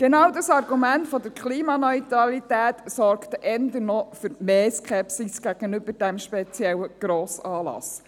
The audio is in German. Genau das Argument der Klimaneutralität sorgt eher für noch mehr Skepsis gegenüber diesem speziellen Grossanlass.